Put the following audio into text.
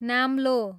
नाम्लो